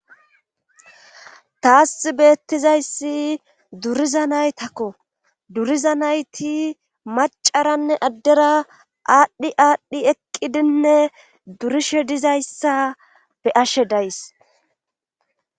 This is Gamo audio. Taas beettizayssi duriza naytakko duriza nayti macaranne addera aadhdhi aadhdhi eqqidinne durishe dizayssa be ashe days.